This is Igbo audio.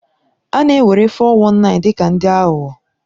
A na-ewere 419 dị ka ndị aghụghọ.